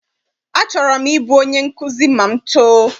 Achọrọ m I bụ onye nkụzi ma m too.